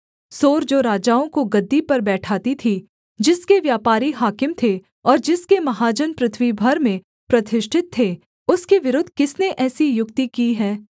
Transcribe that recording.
सोर जो राजाओं को गद्दी पर बैठाती थी जिसके व्यापारी हाकिम थे और जिसके महाजन पृथ्वी भर में प्रतिष्ठित थे उसके विरुद्ध किसने ऐसी युक्ति की है